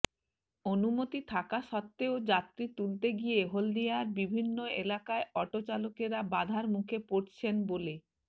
অনুমতি থাকা সত্বেও যাত্রী তুলতে গিয়ে হলদিয়ার বিভিন্ন এলাকায় অটো চালকেরা বাধার মুখে পড়ছেন বলে